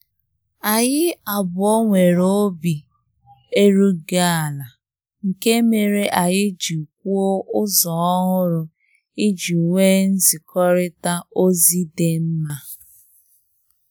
Anyị abụọ nwere obi erughị ala, nke mere anyị ji kwuo ụzọ ọhụrụ iji nwe nzikorita ozi dị mma